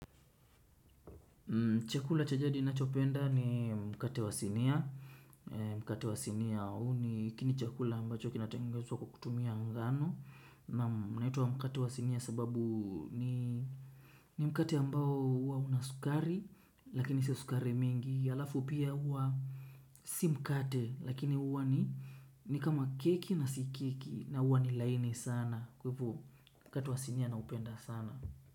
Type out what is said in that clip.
Chakula cha jadi ninachopenda, ni mkate wa sinia, mkate wa sinia. Huu ni kini chakula ambacho kinatengezwa kwa kutumia ngano, naam mnaituwa mkate wa sinia sababu ni mkate ambao hua unaskari lakini sio sukari mingi. Yalafu pia, hua, si mkate, lakini hua ni kama keki na sikeki na hua ni laini sana. Kwa hivo. Mkate wa sinia naupenda sana.